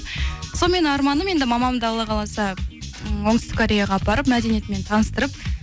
сонымен арманым енді мамамды алла қаласа ііі оңтүстік кореяға апарып мәдениетімен таныстырып